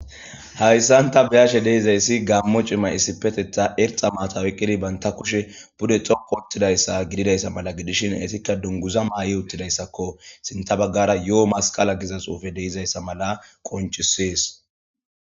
Hayssan ta be7ashe de7izayssi gammo cima issipetetha erxa matawyqqidi banta kushe bude xoko ottidayssa gididayssa mala gidishin etikka dunguza maayi uttidayssakko sinta baggara yo7o masqala gizasuufe deizayssa mala qoncisees.